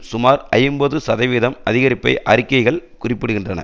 சுமார் ஐம்பது சதவீதம் அதிகரிப்பை அறிக்கைகள் குறிப்பிடுகின்றன